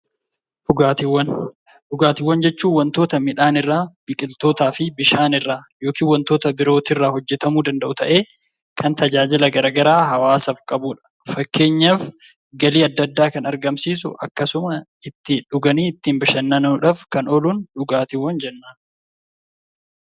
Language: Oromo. Dhugaatiiwwan jechuun wantoota midhaan irraa, biqiltootaa fi bishaan irraa yookiin wantoota biroo irraa hojjetamuu danda'u ta'ee kan tajaajila gara garaa hawaasaaf qabuudha. Fakkeenyaaf galii adda addaa kan argamsiisu, dhuganii ittiin bashannanuudhaaf kan oolu dhugaatiiwwan jenna.